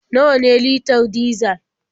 Nawa ne litar dizal?